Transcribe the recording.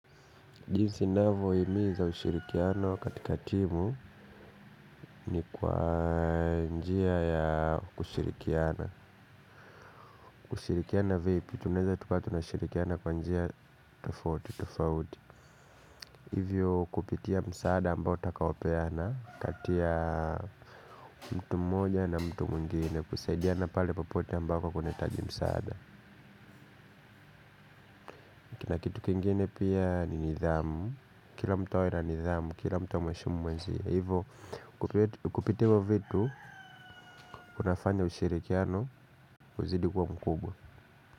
Jinsi ninavyo himiza ushirikiano katika timu ni kwa njia ya kushirikiana. Kushirikiana vipi tunaeza tukawa tunashirikiana kwa njia tofauti tofauti. Hivyo kupitia msaada ambao tutakaopeana kati ya mtu mmoja na mtu mwingine kusaidiana pale popote ambako kunahitaji msaada. Kina kitu kingine pia ni nidhamu. Kila mtu awe na nidhamu, kila mtu amheshimu mwenzie. Hivo, kupitia hivo vitu, kunafanya ushirikiano, uzidi kua mkubwa.